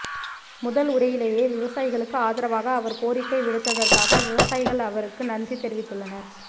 முதல் உரையிலேயே விவசாயிகளுக்கு ஆதரவாக அவர் கோரிக்கை விடுத்ததற்காக விவசாயிகள் அவருக்கு நன்றி தெரிவித்துள்ளனர்